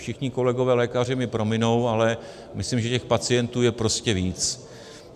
Všichni kolegové lékaři mi prominou, ale myslím, že těch pacientů je prostě víc.